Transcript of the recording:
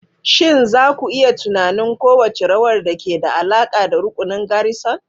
Shin za ku iya tunanin kowace rawar da ke da alaƙa da rukunin garrison?